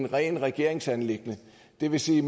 rent regeringsanliggende det vil sige